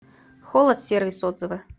холод сервис отзывы